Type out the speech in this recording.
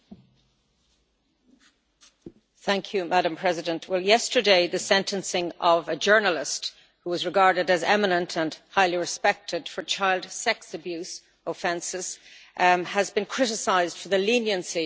Madam President, yesterday the sentencing of a journalist, who was regarded as eminent and highly respected, for child sex abuse offences has been criticised for the leniency of the conviction and sentence.